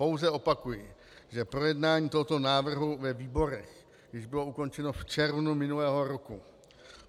Pouze opakuji, že projednání tohoto návrhu ve výborech již bylo ukončeno v červnu minulého roku.